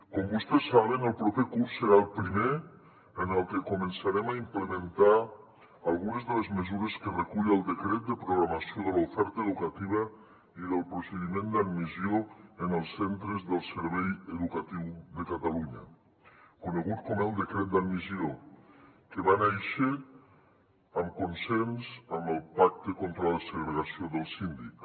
com vostès saben el proper curs serà el primer en el que començarem a implementar algunes de les mesures que recull el decret de programació de l’oferta educativa i del procediment d’admissió en els centres del servei educatiu de catalunya conegut com el decret d’admissió que va néixer amb consens en el pacte contra la segregació del síndic